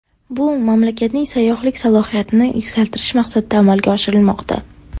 Bu mamlakatning sayyohlik salohiyatini yuksaltirish maqsadida amalga oshirilmoqda.